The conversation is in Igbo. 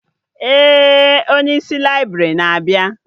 Ee, onye isi laibrị na-abịa